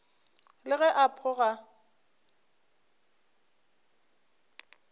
le ge a pho ga